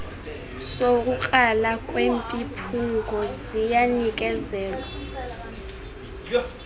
sokukrala kwemiphunga ziyanikezelwa